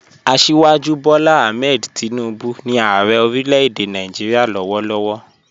Asíwájú Bọ́lá Àhmẹ̀d Tìnúbu ni Ààrẹ̀ orílẹ̀-èdè Nàìjíríà lọ́wọ̀lọ́wọ̀